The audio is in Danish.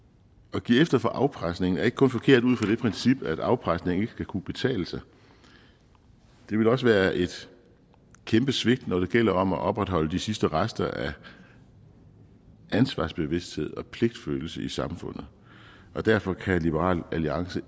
at give efter for afpresning er ikke kun forkert ud fra det princip at afpresning ikke skal kunne betale sig det vil også være et kæmpe svigt når det gælder om at opretholde de sidste rester af ansvarsbevidsthed og pligtfølelse i samfundet og derfor kan liberal alliance